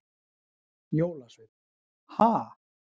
Jólasveinn: Ha?